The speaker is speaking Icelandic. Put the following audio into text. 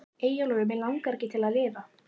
Eyjólfur Mig langaði ekki til að lifa.